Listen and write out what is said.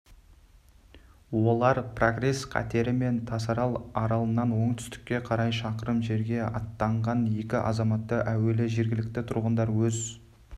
олар прогресс катерімен тасарал аралынан оңтүстікке қарай шақырым жерге аттанған екі азаматты әуелі жергілікті тұрғындар өз